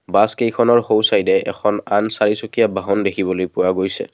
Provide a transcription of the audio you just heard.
Bus কেইখনৰ সোঁ side এ এখন আন চাৰিচুকীয়া বাহন দেখিবলৈ পোৱা গৈছে।